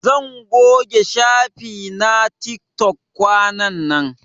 Zan goge shafi na tiktok kwanan nan.